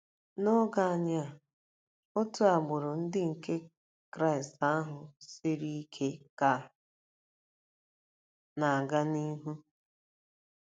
N'oge anyị a, otu agbụrụ Ndị Kraịst ahụ siri ike ka na-aga n'ihu.